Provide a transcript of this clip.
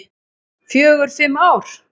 Fjögur, fimm ár.